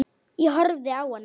Ég horfði á hana.